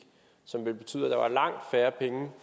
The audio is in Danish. som ville betyde at der var langt færre penge